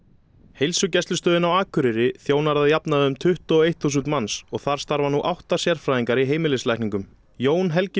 heilsugæslustöðin á Akureyri þjónar að jafnaði um tuttugu og eitt þúsund manns og þar starfa nú átta sérfræðingar í heimilislækningum Jón Helgi